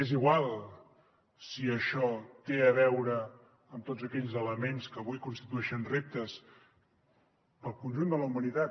és igual si això té a veure amb tots aquells elements que avui constitueixen reptes pel conjunt de la humanitat